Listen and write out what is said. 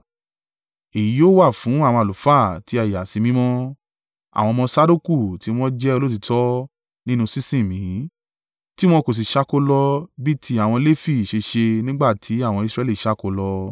Èyí yóò wà fún àwọn àlùfáà tí a yà sí mímọ́, àwọn ọmọ Sadoku tí wọn jẹ́ olóòtítọ́ nínú sí sìn mí, tiwọn kò sì ṣáko lọ bí ti àwọn Lefi ṣe ṣe nígbà tí àwọn Israẹli ṣáko lọ.